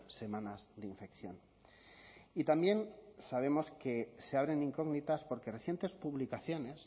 semanas de infección y también sabemos que se abren incógnitas porque recientes publicaciones